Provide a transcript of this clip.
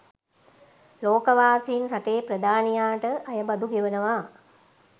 ලෝකවාසීන් රටේ ප්‍රධානියාට අයබදු ගෙවනවා